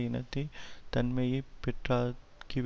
இனத்தை தன்மையை பெற்றாக்கிவிடும்